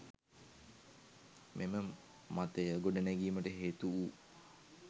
මෙම මතය ගොඩනැඟීමට හේතු වූ